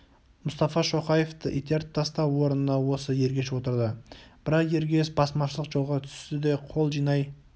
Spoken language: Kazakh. мұстафа шоқаевты итеріп тастап орнына осы ергеш отырды бірақ ергеш басмашылық жолға түсті де қол жинай